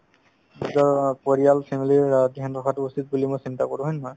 নিজৰ অ পৰিয়াল family ৰ অ dhyan ৰখাতো উচিত বুলি মই চিন্তা কৰো হয় নে নহয়